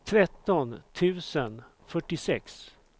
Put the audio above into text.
tretton tusen fyrtiosex